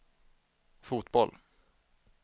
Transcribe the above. fotboll